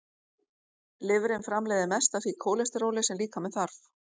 Lifrin framleiðir mest af því kólesteróli sem líkaminn þarf.